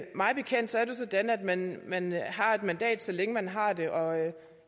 mig bekendt er det sådan at man har et mandat så længe man har det og